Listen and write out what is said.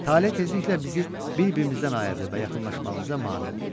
Tale tezliklə bizi bir-birimizdən ayırdı və yaxınlaşmağımıza mane oldu.